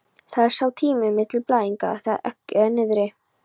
Það er sá tími milli blæðinga þegar eggið er niðri.